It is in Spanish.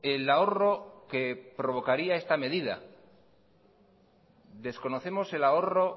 el ahorro que provocaría esta medida desconocemos el ahorro